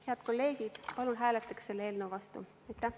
Head kolleegid, palun hääletage selle eelnõu vastu!